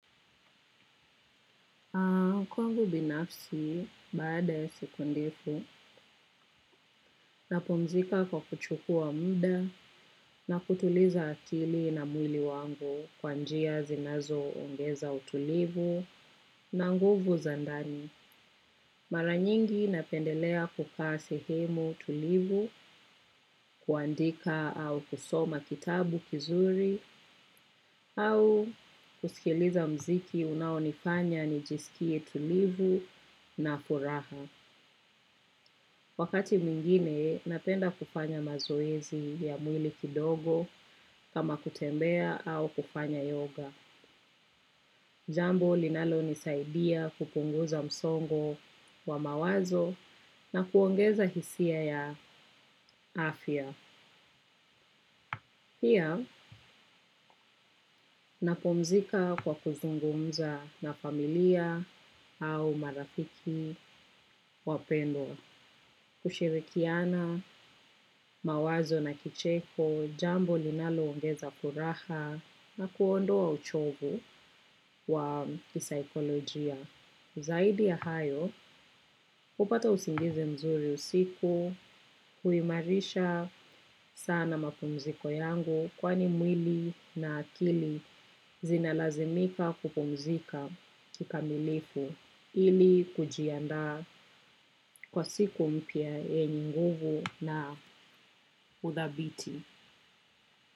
Kwangu binafsi, baada ya siku ndefu, napumzika kwa kuchukua muda na kutuliza akili na mwili wangu kwa njia zinazoongeza utulivu na nguvu za ndani. Maranyingi napendelea kukaa sehemu tulivu, kuandika au kusoma kitabu kizuri au kusikiliza mziki unaonifanya nijisikie tulivu na furaha. Wakati mwingine, napenda kufanya mazoezi ya mwili kidogo kama kutembea au kufanya yoga. Jambo, linalo nisaidia kupunguza msongo wa mawazo na kuongeza hisia ya afya. Pia, napumzika kwa kuzungumza na familia au marafiki wapendwa. Kushirikiana mawazo na kicheko, jambo linaloongeza furaha na kuondoa uchovu wa kisaikolojia. Zaidi ya hayo, hupata usingizi mzuri usiku, huimarisha sana mapumziko yangu kwani mwili na akili zinalazimika kupumzika kikamilifu. Hili kujiandaa kwa siku mpya yenye nguvu na uthabiti.